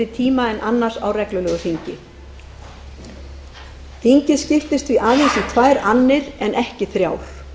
tíma en annars á reglulegu þingi þingið skiptist því aðeins í tvær annir en ekki þrjár